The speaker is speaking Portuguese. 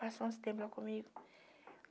Passou uns tempo lá comigo.